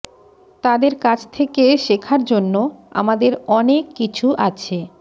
তাদের কাছ থেকে শেখার জন্য আমাদের অনেক কিছু আছে